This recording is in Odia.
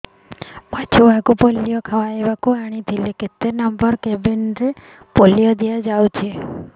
ମୋର ଛୁଆକୁ ପୋଲିଓ ଖୁଆଇବାକୁ ଆଣିଥିଲି କେତେ ନମ୍ବର କେବିନ ରେ ପୋଲିଓ ଦିଆଯାଉଛି